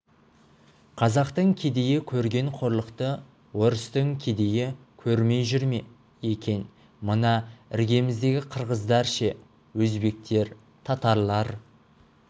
қазақтың кедейі көрген қорлықты орыстың кедейі көрмей жүр ме екен мына іргеміздегі қырғыздар ше өзбектер татарлар